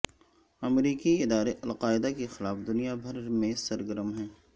امریکی ادارے القاعدہ کے خلاف دنیا بھر میں سرگرم ہیں